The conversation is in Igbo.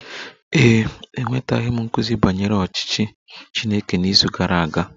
Ee e, enwetaghị m nkuzi banyere ọchịchị Chineke n'izu gara aga